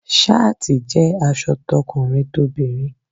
Ṣááti jẹ́ aṣọ tọkùnrin tobinrin.